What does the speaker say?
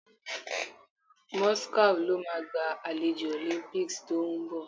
Moscow lo máa gba àlejò Olympics to ń bọ